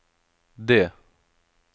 det